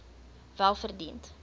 welverdiend